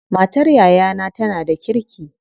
Matar yayana tana da kirki.